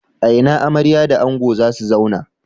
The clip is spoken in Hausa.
A ina amarya da ango za su zauna?